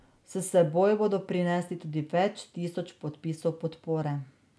S seboj bodo prinesli tudi več tisoč podpisov podpore.